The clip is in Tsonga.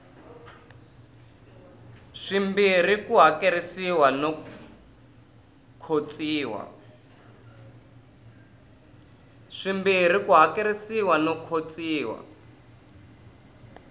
swimbirhi ku hakerisiwa no khotsiwa